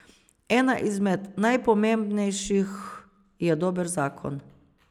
Ena izmed najpomembnejših je dober zakon.